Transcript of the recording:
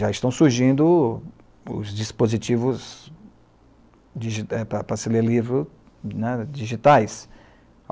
Já estão surgindo os dispositivos digi para para se ler livro, né, digitais.